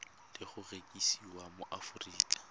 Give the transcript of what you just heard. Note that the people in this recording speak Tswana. le go rekisiwa mo aforika